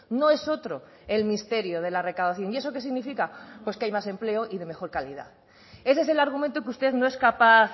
no es otro el misterio de la recaudación y eso qué significa pues que hay más empleo y de mejor calidad ese es el argumento que usted no es capaz